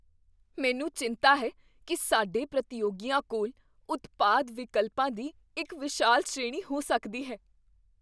ਮੈਨੂੰ ਚਿੰਤਾ ਹੈ ਕੀ ਸਾਡੇ ਪ੍ਰਤੀਯੋਗੀਆਂ ਕੋਲ ਉਤਪਾਦ ਵਿਕਲਪਾਂ ਦੀ ਇੱਕ ਵਿਸ਼ਾਲ ਸ਼੍ਰੇਣੀ ਹੋ ਸਕਦੀ ਹੈ।